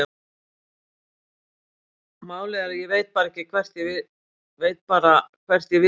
Málið er að ég veit bara hvert ég vil ekki fara.